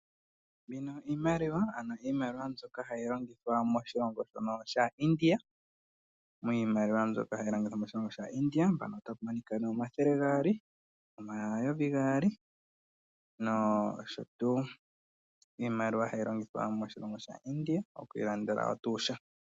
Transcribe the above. Iimaliwa mbyoka hayi longithwa moshilongo shaIndia. Opu na omathele gaali, omayovi gaali nosho tuu. Iimaliwa mbika ohayi longithwa moshilongo shaIndia oku ilandela tuu sha.